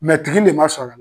tigi le ma sɔr'a l